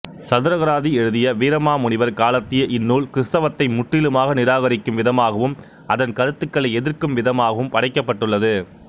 சதுரகராதி எழுதிய வீரமாமுனிவர் காலத்திய இந்நூல் கிறித்தவத்தை முற்றிலுமாக நிராகரிக்கும் விதமாகவும் அதன் கருத்துக்களை எதிர்க்கும் விதமாகவும் படைக்கப்பட்டுள்ளது